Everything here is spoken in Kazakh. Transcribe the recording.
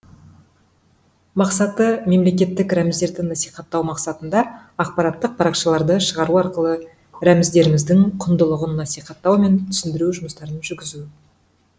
мақсаты мемлекеттік рәміздерді насихаттау мақсатында ақпараттық парақшаларды шығару арқылы рәміздеріміздің құндылығын насихаттау мен түсіндіру жұмыстарын жүргізу